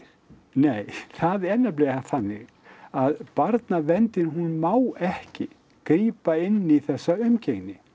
nei það er nefnilega þannig að barnaverndin hún má ekki grípa inn í þessa umgengni